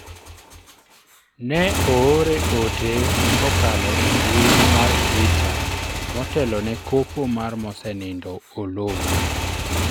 ne oore ote kokalo e mbui mar twitter motelo ne kopo mar mosenindo Oloo